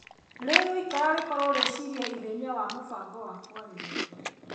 Rĩguikara gũkorwo rĩciria ithenya wa mũbango wa kwarĩrĩria